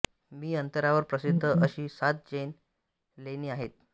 मी अंतरावर प्रसिद्ध अशी सात जैन लेणी आहेत